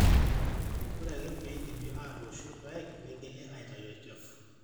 ore ake pee eidipi aatooshu irpaek negeli aaitau olchafu